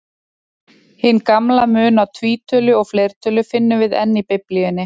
Hinn gamla mun á tvítölu og fleirtölu finnum við enn í Biblíunni.